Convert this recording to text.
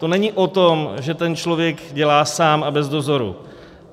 To není o tom, že ten člověk dělá sám a bez dozoru.